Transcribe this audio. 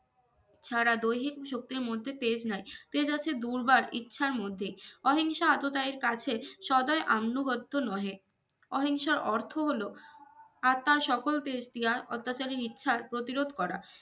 সারা দৈহিক শক্তের মধ্যে পেজ নাই পেজ আছে দুর্বার ইছার মধ্যে অহিংসা এতোটাই কাছের সদয় আনুগত্য নহে অহিংসার অর্থ হলো আর তার সকল অত্যাচারী মিথ্যার প্রতিরোধ করা